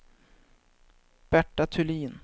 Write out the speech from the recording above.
Berta Thulin